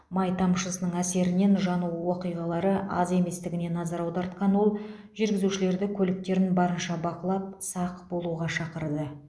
май тамшысының әсерінен жану оқиғалары аз еместігіне назар аудартқан ол жүргізушілерді көліктерін барынша бақылап сақ болуға шақырды